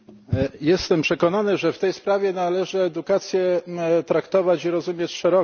Jestem przekonany, że w tej sprawie należy edukację traktować i rozumieć szeroko.